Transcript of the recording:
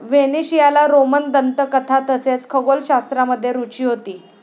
व्हेनेशियाला Roman दंतकथा तसेच खगोलशास्त्रामध्ये रुची होती ।